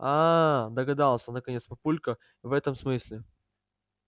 аа догадался наконец папулька в этом смысле